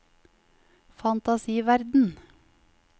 fantasiverden